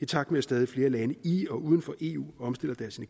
i takt med at stadig flere lande i og uden for eu omstiller deres